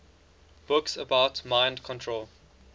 books about mind control